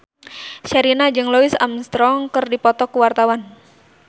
Sherina jeung Louis Armstrong keur dipoto ku wartawan